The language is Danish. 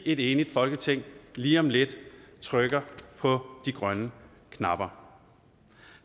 et enigt folketing lige om lidt trykker på de grønne knapper